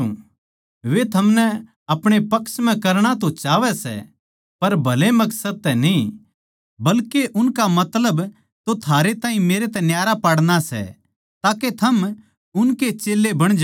वे थमनै आपणे पक्ष म्ह करणा तो चाहवै सै पर भले मकसद तै न्ही बल्के उनका मतलब तो थारे ताहीं मेरे तै न्यारा पाड़ना सै ताके थम उनके ए चेल्लें बण जाओ